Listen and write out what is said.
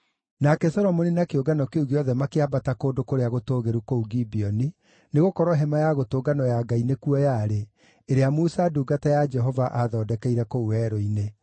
Nake Solomoni na kĩũngano kĩu gĩothe makĩambata kũndũ kũrĩa gũtũũgĩru kũu Gibeoni, nĩgũkorwo Hema-ya-Gũtũnganwo ya Ngai nĩkuo yarĩ, ĩrĩa Musa ndungata ya Jehova aathondekeire kũu werũ-inĩ.